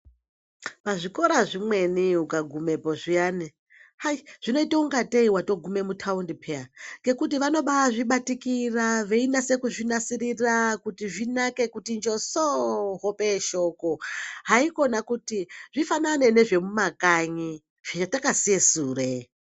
Pazvikora zvimweni ukagumepo zviyani hai! zvinoita kunga tei wagume mutaundi peyani ngekuti vanoba azvibatikira veinase kuzvinasirira kuti zvinake kuti josooo hope yeshoko haikona kuti zvifanane nezvekumakanyi zvatakasiye sure.